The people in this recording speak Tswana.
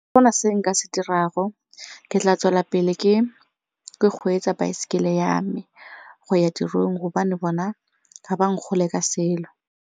Ga go na se nka se dirago ke tla tswelela pele ke ke kgweetsa baesekele ya me go ya tirong gobane bona ga ba ka selo.